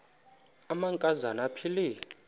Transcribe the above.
amanka zana aphilele